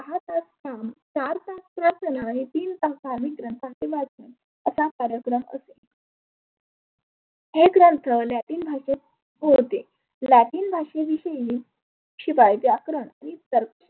हे ग्रंथ लॅटीन भाषेत होते. लॅटीन भाषे विषयी शिवाय व्याकरण ही